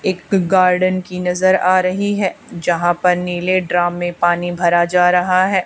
एक गार्डन की नजर आ रही है जहां पर नीले ड्राम में पानी भरा जा रहा है।